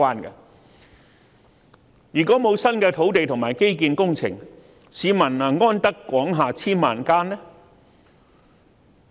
如果沒有新的土地和基建工程，市民能"安得廣廈千萬間"嗎？